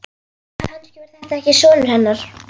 Kannski var þetta ekki sonur hennar.